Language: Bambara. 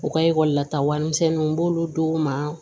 U ka ekɔli la ta warimisɛnninw b'olu d'u ma